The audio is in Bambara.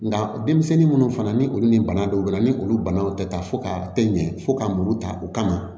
Nka denmisɛnnin minnu fana ni olu ni bana dɔw bɛ na ni olu banaw tɛ ta fo ka tɛ ɲɛ fo ka muru ta u kama